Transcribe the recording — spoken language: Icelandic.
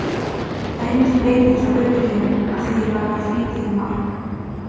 Það er engin breyting hjá öryrkjunum að því er varðar frítekjumark.